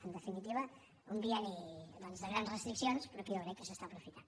en definitiva un bienni doncs de grans restriccions però que jo crec que s’està apro·fitant